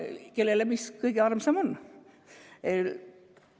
Noh, mis kellelegi kõige armsam on?